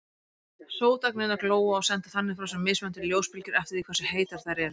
Sótagnirnar glóa og senda þannig frá sér mismunandi ljósbylgjur eftir því hversu heitar þær eru.